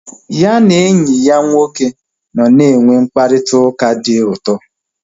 Ya na enyi ya nwoke nọ na enwe mkparịta ụka dị ụtọ